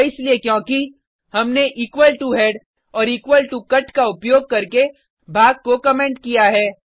यह इसलिए क्योंकि हमने इक्वल टो हेड और इक्वल टो कट का उपयोग करके भाग को कमेंट किया है